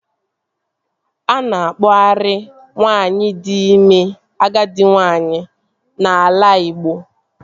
A na-akpọarị nwaanyị di ime agadi nwaanyị n'ala Igbo